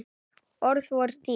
Orð voru dýr.